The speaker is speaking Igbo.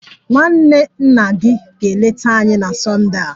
Nwanne nna gị ga-eleta anyị na Sonde a